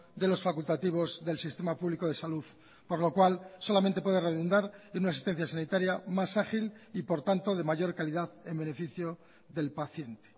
de los facultativos del sistema público de salud por lo cual solamente puede redundar en una asistencia sanitaria más ágil y por tanto de mayor calidad en beneficio del paciente